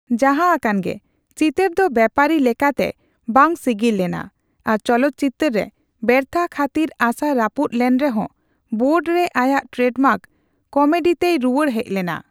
ᱡᱟᱦᱟᱸ ᱟᱠᱟᱱᱜᱮ, ᱪᱤᱛᱟᱹᱨ ᱫᱚ ᱵᱮᱯᱟᱨᱤ ᱞᱮᱠᱟᱛᱮ ᱵᱟᱝ ᱥᱤᱜᱤᱞ ᱞᱮᱱᱟ ᱟᱨ ᱪᱚᱞᱚᱛᱪᱤᱛᱟᱹᱨ ᱨᱮ ᱵᱮᱨᱛᱷᱟᱹ ᱠᱷᱟᱹᱛᱤᱨ ᱟᱥᱟ ᱨᱟᱹᱯᱩᱫ ᱞᱮᱱᱨᱮᱦᱚᱸ ᱵᱟᱨᱰᱮ ᱨᱮ ᱟᱭᱟᱜ ᱴᱨᱮᱰᱢᱟᱨᱠ ᱠᱚᱢᱮᱰᱤᱛᱮᱭ ᱨᱩᱭᱟᱹᱲ ᱦᱮᱡ ᱞᱮᱱᱟ ᱾